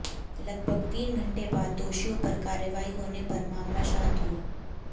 लगभग तीन घंटे बाद दोषियों पर कार्रवाई होने पर मामला शांत हुआ